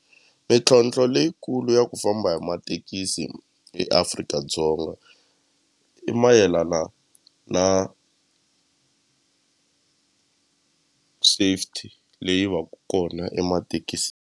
Mintlhotlho leyikulu ya ku famba hi mathekisi eAfrika-Dzonga i mayelana na safety leyi va ka kona .